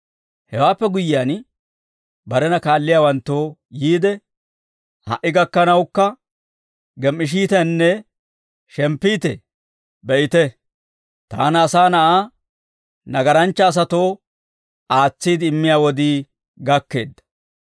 Hewaappe guyyiyaan, barena kaalliyaawanttoo yiide, «Ha"i gakkanawukka gem"ishiiteenne shemppiitee? Be'ite, Taana, Asaa Na'aa, nagaranchcha asatoo aatsiide immiyaa wodii gakkeedda.